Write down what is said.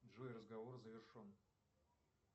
джой разговор завершен